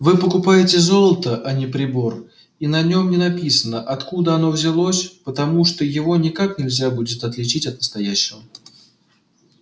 вы покупаете золото а не прибор и на нём не написано откуда оно взялось потому что его никак нельзя будет отличить от настоящего